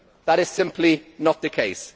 That is simply not the case.